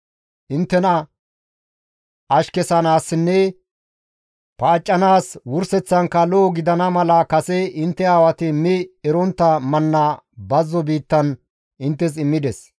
Inttena ashkesanaasinne paaccanaas wurseththankka lo7o gidana mala kase intte aawati mi erontta manna bazzo biittan inttes immides.